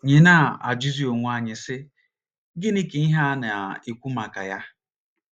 nyị na - ajụzi onwe anyị, sị: ‘ Gịnị ka ihe a na - ekwu maka ya?